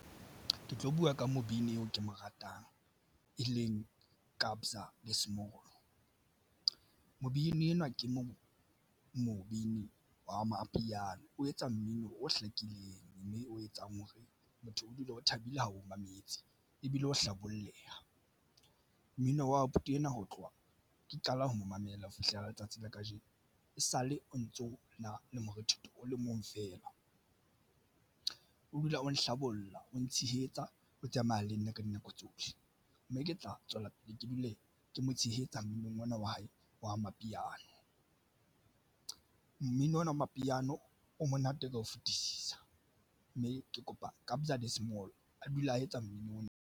Ke tlo buwa ka mobini eo ke mo ratang, e leng Kabza De Small. Mobini enwa ke mo mobini wa amapiano o etsa mmino o hlakileng mme o etsang hore motho o dula o thabile ha o mametse ebile o hlabolleha mmino wa abuti ena. Ho tloha ke qala ho mo mamela ho fihlela letsatsing la kajeno e sale o ntso na le morethetho o le mong feela o dula o nhlabollang o ntshehetsa o tsamaya le nna ka dinako tsohle mme ke tla tswela pele ke dule ke mo tshehetsa mminong ona wa hae wa amapiano. Mmino ona wa mapiano o monate ka ho fetisisa, mme ke kopa Kabza De Small a dula a etsa mmino ona.